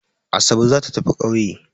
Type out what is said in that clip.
Asabe za ta tafi ƙauye.